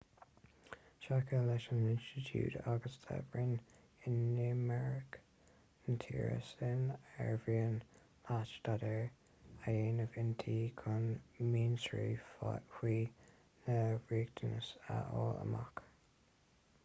seiceáil leis an institiúid agus le roinn inimirce na tíre sin ar mhian leat staidéar a dhéanamh inti chun mionsonraí faoi na riachtanais a fháil amach